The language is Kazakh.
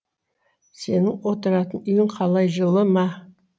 сенің отыратын үйің қалай жылы ма